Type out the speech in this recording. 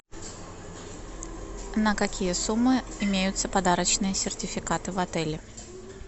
на какие суммы имеются подарочные сертификаты в отеле